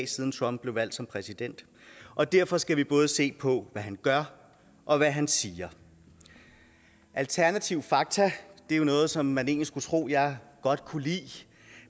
siden trump blev valgt som præsident og derfor skal vi både se på hvad han gør og hvad han siger alternative fakta er jo noget som man egentlig skulle tro jeg godt kunne lide